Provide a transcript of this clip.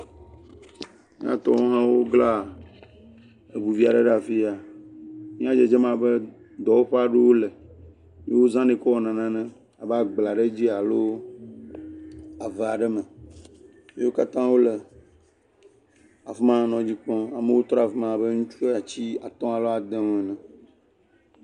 M]atɔwo hã wobla ŋu vi aɖe ɖe afi ya. Nuya dzedzem abe dɔwɔƒea ɖo wole. Wozanɛ kɔwɔna nane. Abe agblea ɖe dzi ya alo ave aɖe me wo katã wole afi ma nɔ dzi kpɔm. amewo tɔ ɖe afi ma abe ŋtsu atsi atɔ̃ aɖe adewo ene.